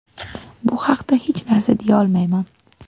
Bu haqda hech narsa deya olmayman.